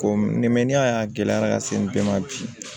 Ko n'i y'a ye a gɛlɛyara ka se den ma bi